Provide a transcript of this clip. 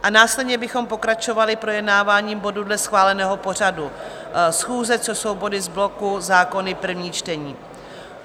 A následně bychom pokračovali projednáváním bodů dle schváleného pořadu schůze, což jsou body z bloku zákony, první čtení.